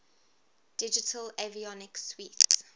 digital avionics suite